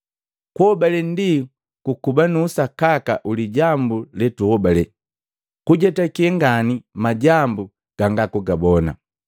Kuhobale ndi kuba nu usakaka wi lijambu le tuhobale, kujetake ngani majambu ganga kugabona.